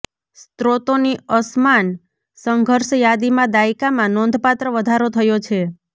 સ્રોતોની અસમાન સંઘર્ષ યાદીમાં દાયકામાં નોંધપાત્ર વધારો થયો છે